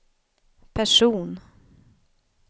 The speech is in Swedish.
person